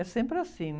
É sempre assim.